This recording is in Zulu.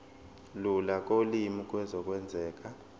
lula kolimi kuzokwenzeka